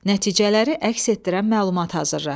Nəticələri əks etdirən məlumat hazırla.